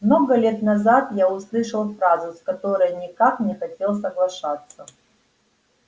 много лет назад я услышал фразу с которой никак не хотел соглашаться